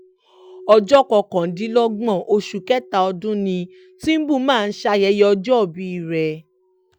ọjọ́ kọkàndínlọ́gbọ̀n oṣù kẹta ọdún ni tìǹbù máa ń ṣayẹyẹ ọjọ́òbí rẹ̀